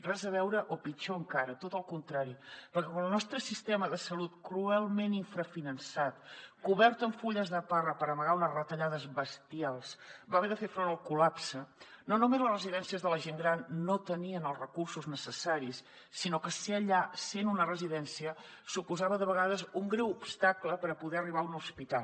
res a veure o pitjor encara tot el contrari perquè el nostre sistema de salut cruelment infrafinançat cobert amb fulles de parra per amagar unes retallades bestials va haver de fer front al col·lapse no només les residències de la gent gran no tenien els recursos necessaris sinó que ser allà ser en una residència suposava de vegades un greu obstacle per poder arribar a un hospital